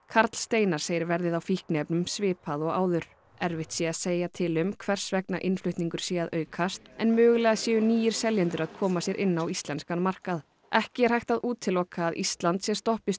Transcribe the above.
karl Steinar segir verðið á fíkniefnunum svipað og áður erfitt sé að segja til um hvers vegna innflutningur sé að aukast en mögulega séu nýir seljendur að koma sér inn á íslenskan markað ekki er hægt að útiloka að Ísland sé stoppistöð